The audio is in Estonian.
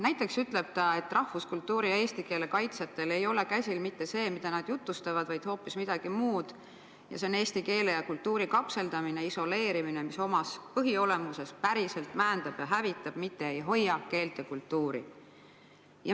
Näiteks ütleb ta: "Rahvuskultuuri ja eesti keele kaitsjatel ei ole käsil mitte see, mida nad jutlustavad, vaid hoopis midagi muud – eesti keele ja kultuuri kapseldamine, isoleerimine, mis omas põhiolemuses päriselt määndab ja hävitab, mitte ei hoia keelt ja kultuuri.